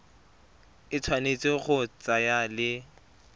e tshwanetse go tsamaya le